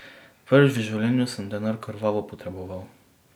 Prvič v življenju sem denar krvavo potreboval.